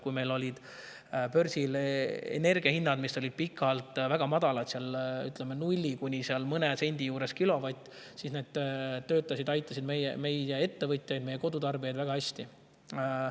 Kui meil olid börsil energia hinnad pikalt väga madalad, ütleme, nulli kuni mõne sendi juures kilovatt, siis need aitasid meie ettevõtjaid ja kodutarbijaid väga.